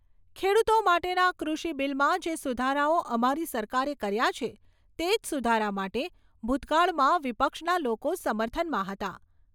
ખેડૂતો માટેના કૃષિ બીલમાં જે સુધારાઓ અમારી સરકારે કર્યા છે તેજ સુધારા માટે ભૂતકાળમાં વિપક્ષના લોકો સમર્થનમાં હતા.